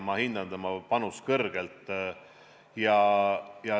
Ma hindan tema panust kõrgelt.